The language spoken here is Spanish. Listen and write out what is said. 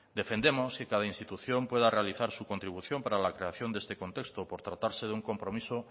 defendemos que cada institución pueda realizar su contribución para la creación de este contexto por tratarse de un compromiso